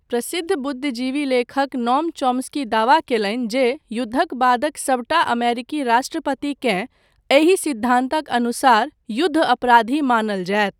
प्रसिद्ध बुद्धिजीवी लेखक, नोम चॉम्स्की दावा कयलनि जे युद्धक बादक सभटा अमेरिकी राष्ट्रपतिकेँ एहि सिद्धान्तक अनुसार युद्ध अपराधी मानल जायत।